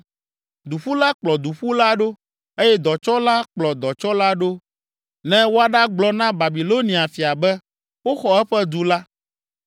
Duƒula kplɔ duƒula ɖo eye dɔtsɔla kplɔ dɔtsɔla ɖo ne woaɖagblɔ na Babilonia fia be, woxɔ eƒe du la